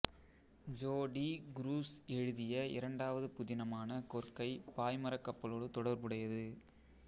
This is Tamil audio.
ஜோ டி குரூஸ் எழுதிய இரண்டாவது புதினமான கொற்கை பாய்மரக் கப்பலோடு தொடர்புடையது